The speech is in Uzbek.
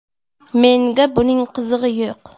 Menga buning qizig‘i yo‘q.